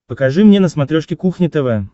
покажи мне на смотрешке кухня тв